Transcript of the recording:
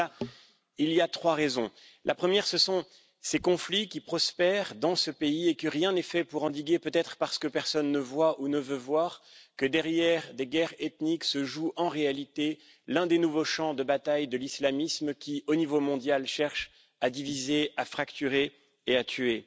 À cela il y a trois raisons la première, ce sont ces conflits qui prospèrent dans ce pays et au fait que rien n'est fait pour les endiguer, peut être parce que personne ne voit où ne veut voir que, derrière des guerres ethniques, se joue en réalité l'un des nouveaux champs de bataille de l'islamisme qui, au niveau mondial, cherche à diviser, à fracturer et à tuer.